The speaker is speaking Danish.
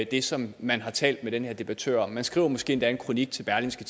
det som man har talt med den her debattør om man skriver måske endda en kronik til berlingske